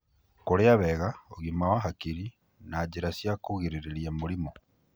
kũrĩa wega, ũgima wa hakiri, na njĩra cia kũgirĩrĩria mĩrimũ.